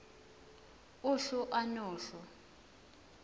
uhlu a nohlu